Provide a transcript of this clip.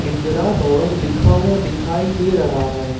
इंदिरा भवन लिखा हुआ दिखाई दे रहा है।